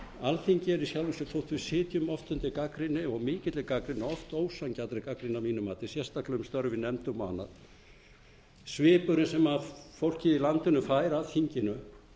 alþingi er í sjálfu sér þó við sitjum oft undir gagnrýni og mikilli gagnrýni oft ósanngjarnri gagnrýni að mínu mati sérstaklega um störf í nefndum og annað svipurinn sem fólkið í landinu fær af þinginu